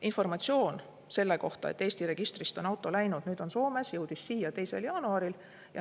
Informatsioon selle kohta, et Eesti registrist on see auto läinud, nüüd on see Soomes, jõudis siia 2. jaanuaril.